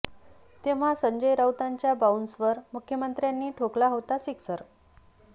तेव्हा संजय राऊतांच्या बाऊन्सरवर मुख्यमंत्र्यांनी ठोकला होता सिक्सर